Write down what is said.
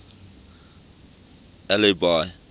albi